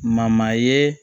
ye